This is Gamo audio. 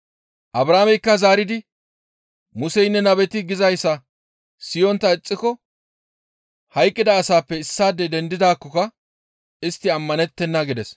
«Abrahaameykka zaaridi, ‹Museynne nabeti gizayssa siyontta ixxiko hayqqida asaappe issaadey dendidaakkoka istti ammanettenna› » gides.